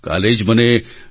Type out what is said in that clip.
કાલે જ મને ડી